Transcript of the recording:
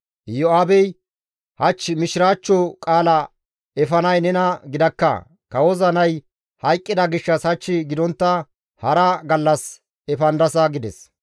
Iyo7aabey, «Hach mishiraachcho qaala efanay nena gidakka; kawoza nay hayqqida gishshas hach gidontta hara gallas efandasa» gides.